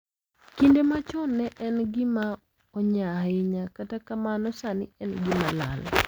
Kinde machon ne en gima onyaa ahinya kata kamano sani en gima lal.